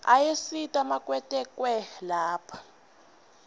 ayasita makwetekwe lapha